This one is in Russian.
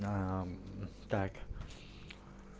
аа мм так